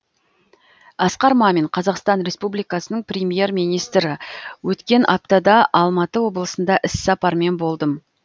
асқар мамин қазақстан республикасының премьер министрі өткен аптада алматы облысында іссапармен болдым